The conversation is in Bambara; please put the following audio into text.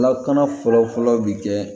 Lakana fɔlɔfɔlɔ bɛ kɛ